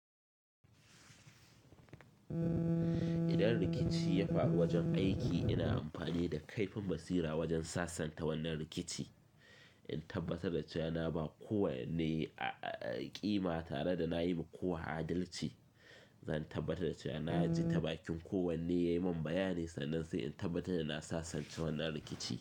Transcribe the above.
Idan rikici ya faru wajen aiki, ina amfani da kaifin basira wajen sasanta wannan rikici. In tabbatar da cewa na ba kowane ƙima tare da na yi wa kowa adalci. Zan tabbatar da cewa na ji ta bakin kowanne yai min bayani sannan sai in tabbatar da na sasanta wannan rikici.